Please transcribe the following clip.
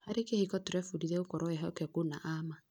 Harĩ kĩhiko, tũrebundithia gũkorwo ehokeku na a ma.